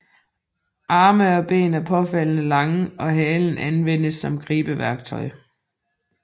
Arme og ben er påfaldende lange og halen anvendes som gribeværktøj